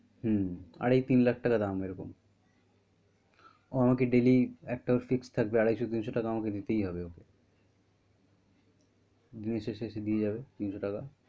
হম আড়াই-তিন লাখ টাকা দাম এই রকম ও আমাকে daily একটা ওর fix থাকবে আড়াইশো -তিনশো টাকা আমাকে দিতেই হবে ওর দিনের শেষে আসে দিয়ে যাবে তিনশো টাকা।